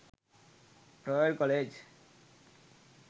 royal college